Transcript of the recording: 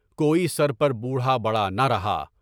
کوئی سر پر بوڑھا بڑھانا رہا۔